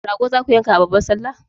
Rago zaku yanka a babbar sallah?